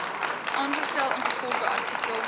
aangestel ingevolge artikel